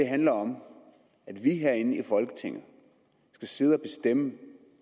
handler om at vi herinde i folketinget skal sidde og bestemme